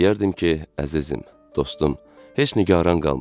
Deyərdim ki, əzizim, dostum, heç nigaran qalma.